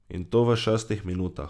In to v šestih minutah.